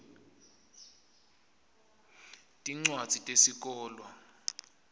tincwadzi tesikolwa